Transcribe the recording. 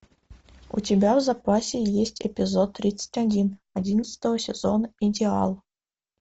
у тебя в запасе есть эпизод тридцать один одиннадцатого сезона идеал